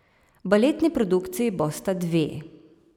Baletni produkciji bosta dve.